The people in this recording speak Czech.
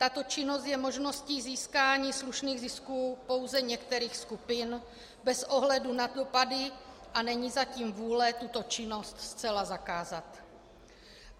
Tato činnost je možností získání slušných zisků pouze některých skupin bez ohledu na dopady, a není zatím vůle tuto činnost zcela zakázat.